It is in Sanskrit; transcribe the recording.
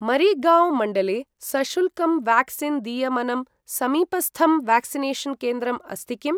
मरिगाँव् मण्डले सशुल्कं व्याक्सीन् दीयमनं समीपस्थं व्याक्सिनेषन् केन्द्रम् अस्ति किम्?